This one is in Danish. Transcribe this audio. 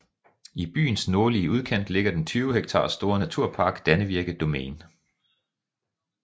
I byens nordlige udkant ligger den 20 hektar store naturpark Dannevirke Domain